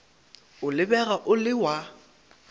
o lebega o le wa